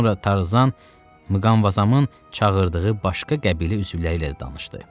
Sonra Tarzan Mqamvazamın çağırdığı başqa qəbilə üzvləri ilə də danışdı.